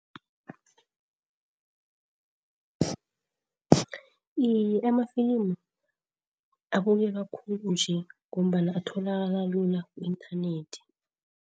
Iye, amafilimu abukeka khulu nje ngombana atholakala lula ku-inthanethi.